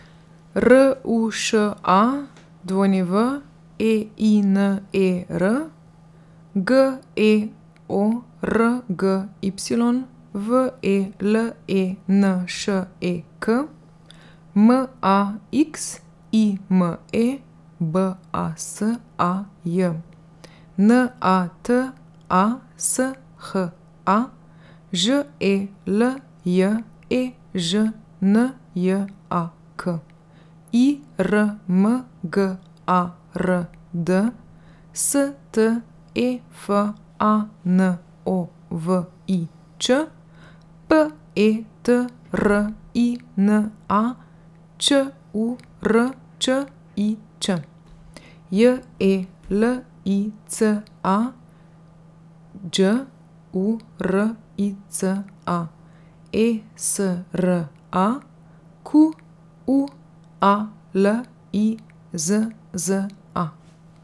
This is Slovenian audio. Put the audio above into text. R U Š A, W E I N E R; G E O R G Y, V E L E N Š E K; M A X I M E, B A S A J; N A T A S H A, Ž E L J E Ž N J A K; I R M G A R D, S T E F A N O V I Č; P E T R I N A, Ć U R Č I Ć; J E L I C A, Đ U R I C A; E S R A, Q U A L I Z Z A.